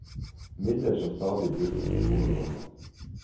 Midler som stadig brukes til gode formål.